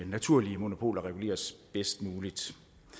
naturlige monopoler reguleres bedst muligt